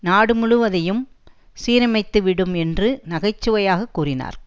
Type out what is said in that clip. நாடு முழுவதையும் சீரமைத்து விடும் என்று நகை சுவையாகக் கூறினார்